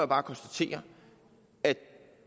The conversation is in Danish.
bare konstatere at